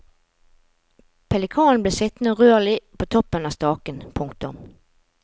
Pelikanen ble sittende urørlig på toppen av staken. punktum